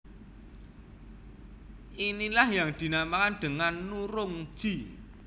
Inilah yang dinamakan dengan nurungji